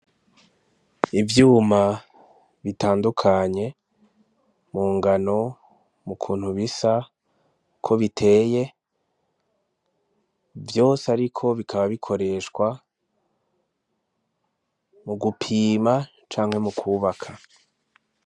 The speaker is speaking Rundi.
Ivyuma bitandukanye mu ngano mu kuntu bisa uko biteye vyose ari ko bikaba bikoreshwa mu gupima canke mu kubaka.